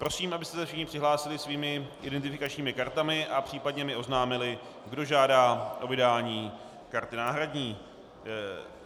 Prosím, abyste se všichni přihlásili svými identifikačními kartami a případně mi oznámili, kdo žádá o vydání karty náhradní.